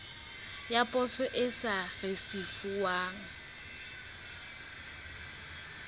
ya poso e sa risefuwang